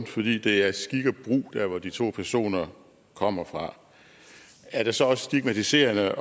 fordi det er skik og brug dér hvor de to personer kommer fra er det så også stigmatiserende